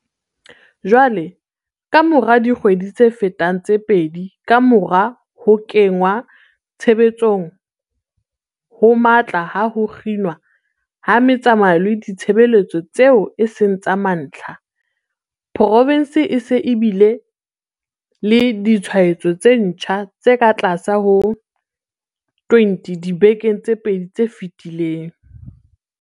Jwale, kamora dikgwedi tse fetang tse pedi kamora ho kenngwa tshebetsong ho matla ha ho kginwa ha metsamao le ditshebeletso tseo e seng tsa mantlha, provense e se e bile le ditshwaetso tse ntjha tse katlase ho 20 dibekeng tse pedi tse fetileng.